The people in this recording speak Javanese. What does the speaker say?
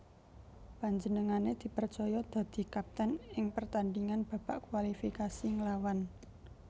Panjenengané dipercaya dadi kapten ing pertandhingan babak kualifikasi nglawan